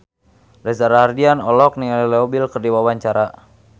Reza Rahardian olohok ningali Leo Bill keur diwawancara